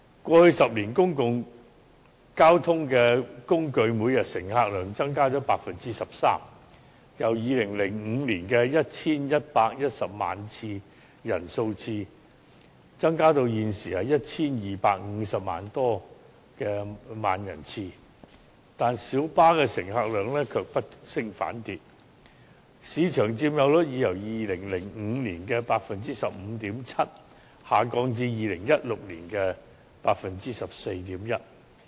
過去10年，公共交通工具每天的乘客量增加了 13%， 由2005年的 1,110 萬人次增加至現時的 1,250 多萬人次，但小巴乘客量卻不升反跌，市場佔有率已由2005年的 15.7% 下降至2016年的 14.1%。